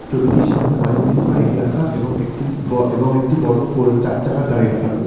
ছবিটির সামনে অনেকগুলি বাইক রাখা এবং একটি ব এবং একটি বড় ফর চার চাকার গাড়ি রাখা রয়েছে।